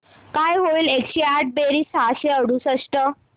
काय होईल एकशे आठ बेरीज सहाशे अडुसष्ट